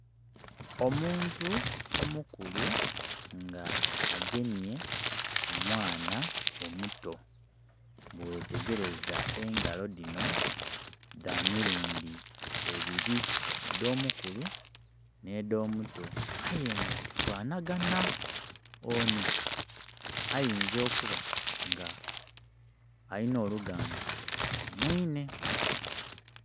Omuntu omukulu nga agemye ku mwaana omuto bwe ghetegereza engalo dhino dha mirumdi ebiri edho mu kulu ne dho muto aye nga dhi fanagana. Ono ayinza okuba nga alina oluganda ku mwiine.